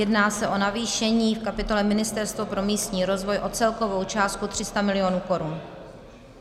Jedná se o navýšení v kapitole Ministerstva pro místní rozvoj o celkovou částku 300 mil. korun.